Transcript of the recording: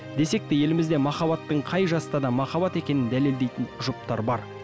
десек те елімізде махаббаттың қай жаста да махаббат екенін дәлелдейтін жұптар бар